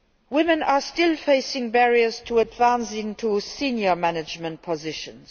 Women are still facing barriers to advancement into senior management positions.